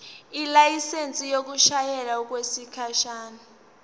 ilayisensi yokushayela okwesikhashana